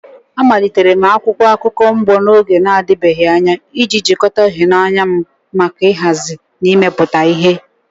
Amalitere m akwụkwọ akụkọ mgbo n'oge na-adịbeghị anya iji jikọta ịhụnanya m maka nhazi na imepụta ihe.